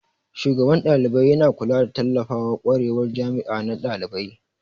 Shugaban dalibai yana kulawa da tallafawa kwarewar jami'a na dalibai.